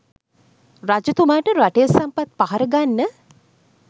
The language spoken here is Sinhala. රජතුමාට රටේ සම්පත් පහර ගන්න